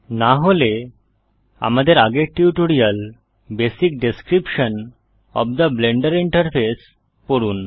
না হলে আমাদের আগের tutorial basic description of the Blender interface পড়ুন